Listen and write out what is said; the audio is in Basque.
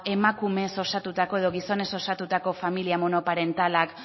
emakumez osatutako edo gizonez osatutako familia monoparentalak